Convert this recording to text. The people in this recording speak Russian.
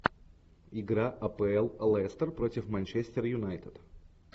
игра апл лестер против манчестер юнайтед